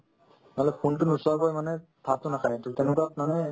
নহ'লে phone তো নুচুৱাকৈ মানে ভাততো নাখাই to তেনেকুৱাত মানে